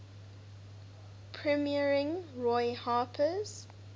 premiering roy harper's